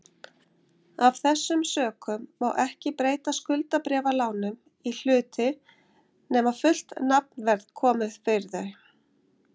Af þessum sökum má ekki breyta skuldabréfalánum í hluti nema fullt nafnverð komi fyrir þau.